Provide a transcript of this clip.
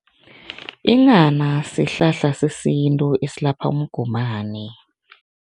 Inghana sihlahla sesintu esilapha umgomani.